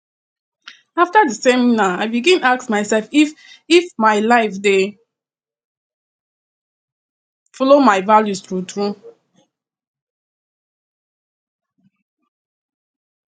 after di seminar i begin ask myself if if my life dey follow my values truetrue